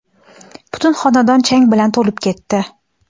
butun xonadon chang bilan to‘lib ketdi.